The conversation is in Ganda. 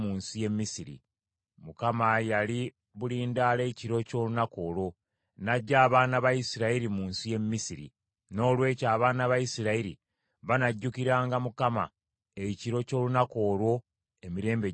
Mukama yali bulindaala ekiro ky’olunaku olwo, n’aggya abaana ba Isirayiri mu nsi y’e Misiri; noolwekyo abaana ba Isirayiri banajjukiranga Mukama ekiro ky’olunaku olwo emirembe gyabwe gyonna.